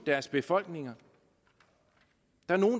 deres befolkninger